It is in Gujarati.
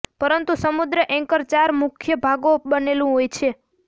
પરંતુ સમુદ્ર એન્કર ચાર મુખ્ય ભાગો બનેલું હોય છે